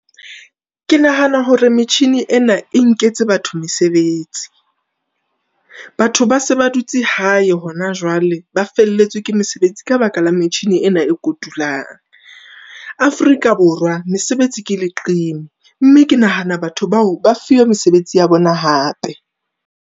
Ke nahana hore metjhini ena e nketse batho mesebetsi, batho ba se ba dutse hae hona jwale. Ba felletswe ke mesebetsi ka baka la metjhini ena e kotulwang. Afrika Borwa mesebetsi ke leqeme, mme ke nahana batho bao ba fuwe mesebetsi ya bona hape.